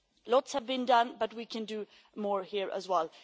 Lots has been done, but we can do more here as well.